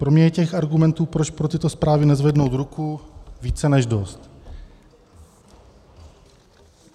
Pro mě je těch argumentů, proč pro tyto zprávy nezvednout ruku, více než dost.